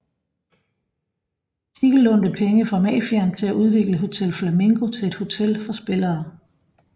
Siegel lånte penge fra mafiaen til at udvikle Hotel Flamingo til et hotel for spillere